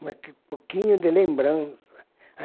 Um pouquinho de lembrança.